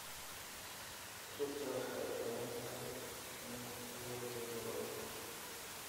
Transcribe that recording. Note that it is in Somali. Rugta waxay u baahan tahay in la hubiyo mar walba.